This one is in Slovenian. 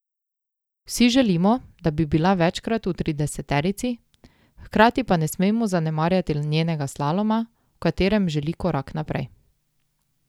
Vsi želimo, da bi bila večkrat v trideseterici, hkrati pa ne smemo zanemarjati njenega slaloma, v katerem želi korak naprej.